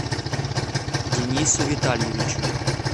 денису витальевичу